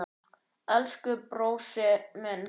Elsku brósi minn.